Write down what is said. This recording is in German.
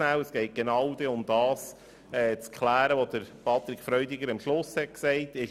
Es geht darum, zu klären, was Grossrat Freudiger am Schluss gesagt hat.